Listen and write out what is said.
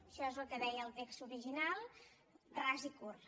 això és el que deia el text original ras i curt